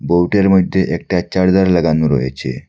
বোর্ডের মইধ্যে একটা চার্জার লাগানো রয়েছে।